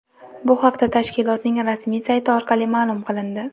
Bu haqda tashkilotning rasmiy sayti orqali ma’lum qilindi .